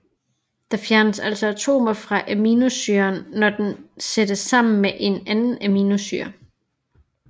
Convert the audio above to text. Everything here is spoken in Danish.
Der fjernes altså atomer fra aminosyren når den sættes sammen med en anden aminosyre